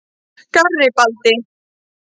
Garibaldi